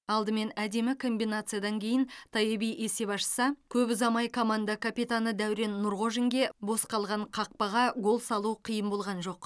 алдымен әдемі комбинациядан кейін тайеби есеп ашса көп ұзамай команда капитаны дәурен нұрғожинге бос қалған қақпаға гол салу қиын болған жоқ